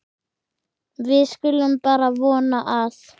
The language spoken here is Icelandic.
Við skulum bara vona að